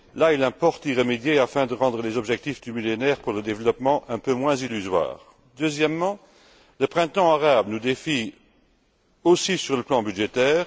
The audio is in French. Il importe d'y remédier afin de rendre les objectifs du millénaire pour le développement un peu moins illusoires. Deuxièmement, le printemps arabe nous défie aussi sur le plan budgétaire.